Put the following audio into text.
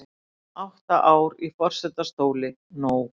Átta ár í forsetastóli nóg